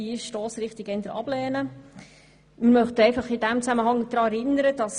Deshalb lehnen wir diese Stossrichtung ab.